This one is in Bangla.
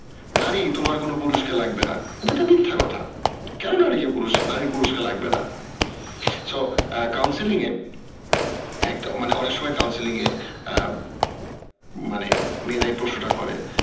নারী তোমার কোনো পুরুষ কে লাগবে না এটা তো মিথ্যা কথা কেন নারী কে পুরুষ, নারীর পুরুষ কে লাগেব না so counseling এ এক মানে অনেক সময় counseling এ আহ মানে মেয়েরাই প্রশ্নটা করে